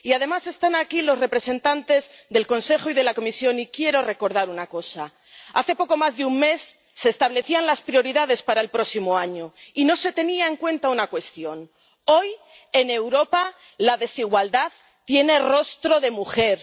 Y, además, están aquí los representantes del Consejo y de la Comisión y quiero recordar una cosa. Hace poco más de un mes se establecían las prioridades para el próximo año y no se tenía en cuenta una cuestión hoy, en Europa, la desigualdad tiene rostro de mujer.